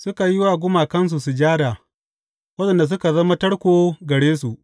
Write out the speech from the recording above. Suka yi wa gumakansu sujada, waɗanda suka zama tarko gare su.